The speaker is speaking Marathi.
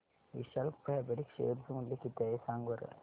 विशाल फॅब्रिक्स शेअर चे मूल्य किती आहे सांगा बरं